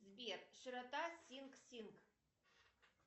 сбер широта синг синг